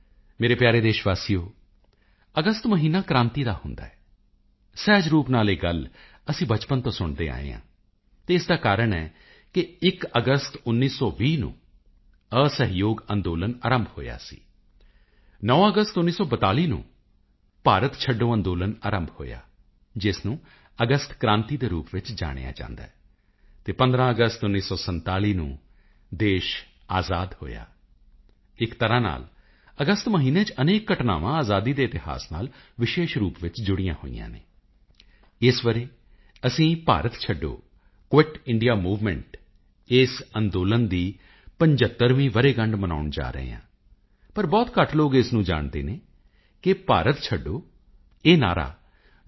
ਮੇਰੇ ਪਿਆਰੇ ਦੇਸ਼ ਵਾਸੀਓ ਅਗਸਤ ਮਹੀਨਾ ਕ੍ਰਾਂਤੀ ਦਾ ਮਹੀਨਾ ਹੁੰਦਾ ਹੈ ਸਹਿਜ ਰੂਪ ਨਾਲ ਇਹ ਗੱਲ ਅਸੀਂ ਬਚਪਨ ਤੋਂ ਸੁਣਦੇ ਆਏ ਹਾਂ ਅਤੇ ਇਸ ਦਾ ਕਾਰਣ ਹੈ 1 ਅਗਸਤ 1920 ਅਸਹਿਯੋਗ ਅੰਦੋਲਨ ਆਰੰਭ ਹੋਇਆ ਸੀ 9 ਅਗਸਤ 1942 ਨੂੰ ਭਾਰਤ ਛੱਡੇ ਅੰਦੋਲਨ ਆਰੰਭ ਹੋਇਆ ਜਿਸ ਨੂੰ ਅਗਸਤ ਕ੍ਰਾਂਤੀ ਦੇ ਰੂਪ ਵਿੱਚ ਜਾਣਿਆ ਜਾਂਦਾ ਹੈ ਅਤੇ 15 ਅਗਸਤ 1947 ਨੂੰ ਦੇਸ਼ ਆਜ਼ਾਦ ਹੋਇਆ ਇੱਕ ਤਰ੍ਹਾਂ ਨਾਲ ਅਗਸਤ ਮਹੀਨੇ ਚ ਅਨੇਕਾਂ ਘਟਨਾਵਾਂ ਆਜ਼ਾਦੀ ਦੇ ਇਤਿਹਾਸ ਨਾਲ ਵਿਸ਼ੇਸ਼ ਰੂਪ ਵਿੱਚ ਜੁੜੀਆਂ ਹੋਈਆਂ ਹਨ ਇਸ ਵਰ੍ਹੇ ਅਸੀਂ ਭਾਰਤ ਛੱਡੋ ਕੁਇਟ ਇੰਡੀਆ ਮੂਵਮੈਂਟ ਇਸ ਅੰਦੋਲਨ ਦੀ 75ਵੀਂ ਵਰ੍ਹੇਗੰਢ ਮਨਾਉਣ ਜਾ ਰਹੇ ਹਾਂ ਪਰ ਬਹੁਤ ਘੱਟ ਲੋਕ ਇਸ ਗੱਲ ਨੂੰ ਜਾਣਦੇ ਹਨ ਕਿ ਭਾਰਤ ਛੱਡੋ ਇਹ ਨਾਅਰਾ ਡਾ